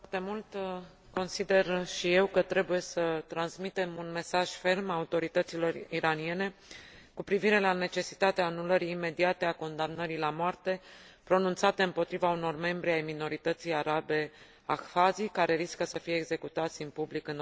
Consider și eu că trebuie să transmitem un mesaj ferm autorităților iraniene cu privire la necesitatea anulării imediate a condamnării la moarte pronunțată împotriva unor membri ai minorității arabe ahwaz, care riscă să fie executați în public în orice moment.